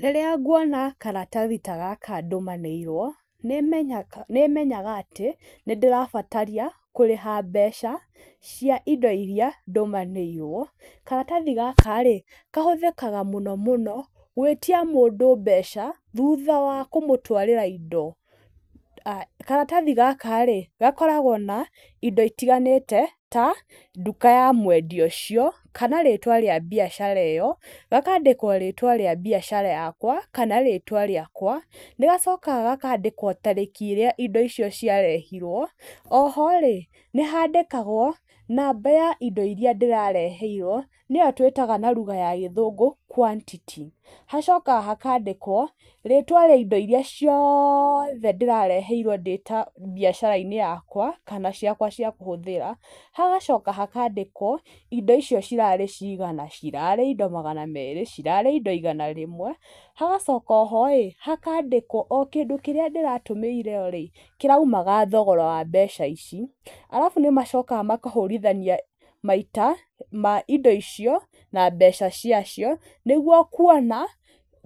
Rĩrĩa nguona karatathi ta gaka ndũmanĩirwo, nĩ menyaga, nĩ menyaga atĩ nĩ ndĩrabataria kũrĩha mbeca cia indo iria ndũmanĩirwo. Karatathi gaka rĩ, kahũthĩkaga mũno mũno gwĩtia mũndũ mbeca, thutha wa kũmũtwarĩra indo. Karatathi gaka rĩ, gakoragwo na indo itiganĩte ta nduka ya mwendia ũcio, kana rĩtwa rĩa mbiacara ĩyo, gakandĩkwo rĩtwa rĩa biacara yakwa kana rĩtwa rĩakwa, nĩ gacokaga gakandĩkwa tarĩki ĩrĩa indo icio ciarehirwo, oho rĩ, nĩ handĩkagwo namba ya indo iria ndĩrareheirwo nĩyo twĩtaga na lugha ya gĩthũngũ quantity. Hagacoka hakandĩkwo rĩtwa rĩa indo iria ciothe ndĩrareheirwo ndĩta mbiacara-inĩ yakwa, kana ciakwa cia kũhũthĩra, hagacoka hakandĩkwo indo icio cirarĩ cigana, cirarĩ indo magana merĩ, cirarĩ indo igana rĩmwe, hagacoka oho ĩ, hakandĩkwo o kĩndũ kĩrĩa ndĩratũmĩirwo ĩ, kĩraumaga thogora wa mbeca ici. Arabu nĩ macokaga makahũrithania maita ma indo icio na mbeca ciacio, nĩguo kuona